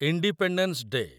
independence day